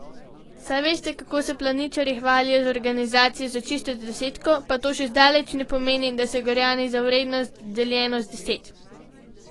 Saj veste, kako se planičarji hvalijo z organizacijo za čisto desetko, pa to še zdaleč ne pomeni, da se Gorjani za vrednost, deljeno z deset.